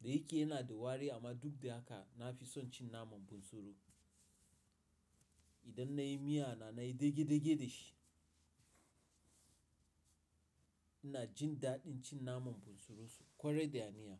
Da yake yana da wari amma duk da haka na fi son cin naman bunsuru. Idan nayi miya na nayi dage-dage da shi. Ina jin daɗin cin naman bunsuru ƙwarai da aniyya.